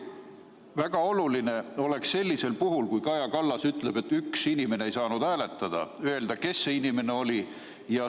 Väga oluline oleks sellisel puhul – nagu Kaja Kallas ütles, üks inimene ei saanud hääletada – öelda, kes see inimene oli.